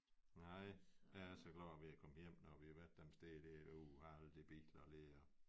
Nej jeg er så glad når vi er kommet hjem når vi har været dem steder dér uha alle de biler der